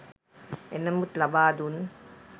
එනමුත් ලබා දුන්